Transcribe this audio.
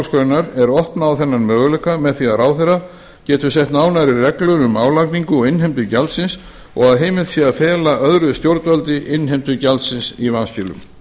málsgrein er opnað á þennan möguleika með því að ráðherra getur sett nánari reglur um álagningu og innheimtu gjaldsins og að heimilt sé að fela öðru stjórnvaldi innheimtu gjalds í vanskilum